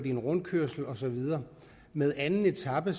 i en rundkørsel og så videre med anden etape